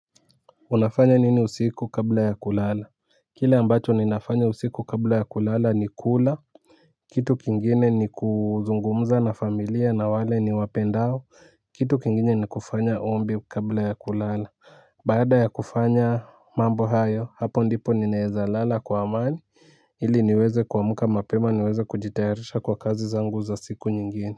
Unafanya nini usiku kabla ya kulala? Kile ambacho ninafanya usiku kabla ya kulala ni kula. Kitu kingine ni kuzungumza na familia na wale ni wapendao kitu kingine ni kufanya ombi kabla ya kulala. Baada ya kufanya mambo hayo hapo ndipo ninaezalala kwa amani ili niweze kuamka mapema niweze kujitayarisha kwa kazi zangu za siku nyingine.